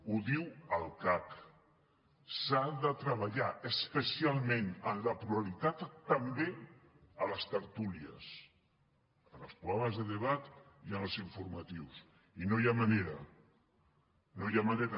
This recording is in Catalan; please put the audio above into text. ho diu el cac s’ha de treballar especialment en la pluralitat també a les tertúlies en els programes de debat i en els informatius i no hi ha manera no hi ha manera